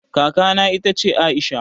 Kaka na ita ce Aisha